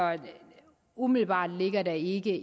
umiddelbart ligger der ikke